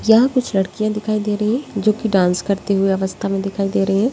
यह कुछ लड़कियाँ दिखाई दे रहीं हैं जो कि डान्स करती हुई अवस्था मे दिखाई दे रही है।